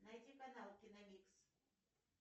найти канал киномикс